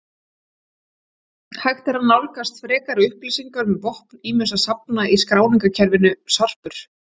Hægt er að nálgast frekari upplýsingar um vopn ýmissa safna í skráningarkerfinu Sarpur.